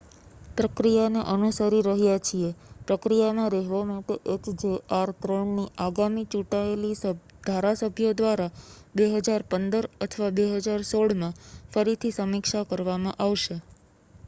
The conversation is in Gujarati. પ્રક્રિયાને અનુસરીરહ્યા છીએ પ્રક્રિયામાં રહેવા માટે એચજેઆર -3 ની આગામી ચૂંટાયેલી ધારાસભ્યો દ્વારા 2015 અથવા 2016 માં ફરીથી સમીક્ષા કરવામાં આવશે